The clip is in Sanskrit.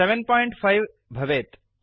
पञ्च भवेत्